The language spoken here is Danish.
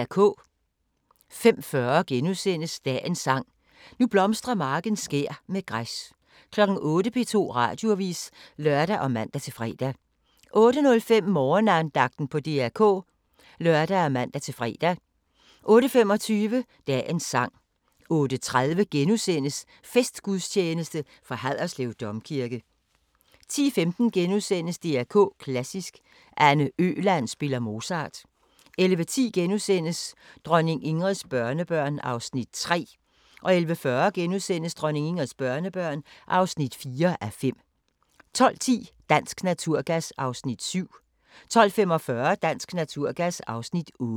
05:40: Dagens Sang: Nu blomstrer marken skær med græs * 08:00: P2 Radioavis (lør og man-fre) 08:05: Morgenandagten på DR K (lør og man-fre) 08:25: Dagens sang 08:30: Festgudstjeneste fra Haderslev Domkirke * 10:15: DR K Klassisk: Anne Øland spiller Mozart * 11:10: Dronning Ingrids børnebørn (3:5)* 11:40: Dronning Ingrids børnebørn (4:5)* 12:10: Dansk Naturgas (Afs. 7) 12:45: Dansk Naturgas (Afs. 8)